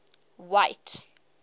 white